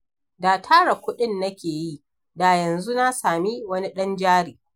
Da tara kuɗin nake yi, da yanzu na sami wani ɗan jari.